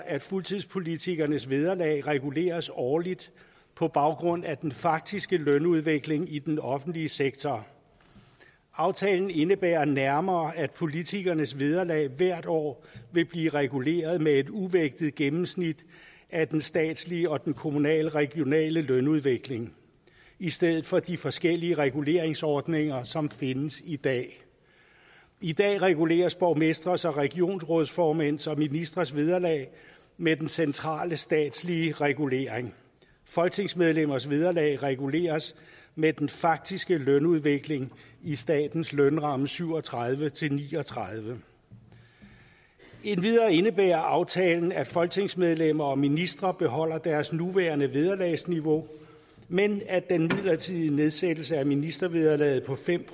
at fuldtidspolitikernes vederlag reguleres årligt på baggrund af den faktiske lønudvikling i den offentlige sektor aftalen indebærer nærmere at politikernes vederlag hvert år vil blive reguleret med et uvægtet gennemsnit af den statslige og den kommunale regionale lønudvikling i stedet for de forskellige reguleringsordninger som findes i dag i dag reguleres borgmestres regionsrådsformænds og ministres vederlag med den centrale statslige regulering folketingsmedlemmers vederlag reguleres med den faktiske lønudvikling i statens lønramme syv og tredive til ni og tredive endvidere indebærer aftalen at folketingsmedlemmer og ministre beholder deres nuværende vederlagsniveau men at den midlertidige nedsættelse af ministervederlaget på fem